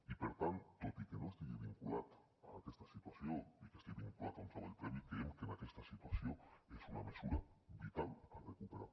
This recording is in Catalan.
i per tant tot i que no estigui vinculat a aquesta situació i que estigui vinculat a un treball previ creiem que en aquesta situació és una mesura vital a recuperar